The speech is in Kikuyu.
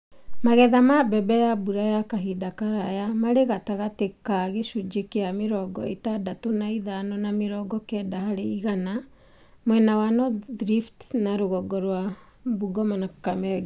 Magetha ma mbembe ya mbura ya kahinda karaya marĩ gatagatĩ ka gĩcunji kĩa mirongo ĩtandatũ na ĩtano na mĩrongo kenda harĩ igana mwena wa North Rift na rũgongo rwa Bungoma na Kakamega,